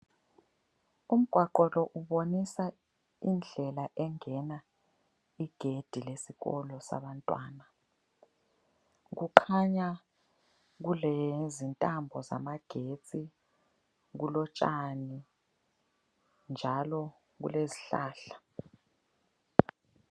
Umgwaqo lo ubonisa indlela engena igedi lesikolo sabantwana. Kukhanya kulezintambo zamagetsi ,kulotshani njalo kulezihlahla.